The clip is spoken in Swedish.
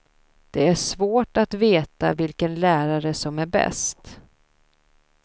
Det är svårt att veta vilken lärare som är bäst.